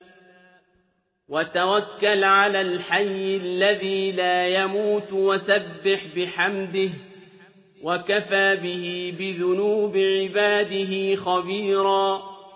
وَتَوَكَّلْ عَلَى الْحَيِّ الَّذِي لَا يَمُوتُ وَسَبِّحْ بِحَمْدِهِ ۚ وَكَفَىٰ بِهِ بِذُنُوبِ عِبَادِهِ خَبِيرًا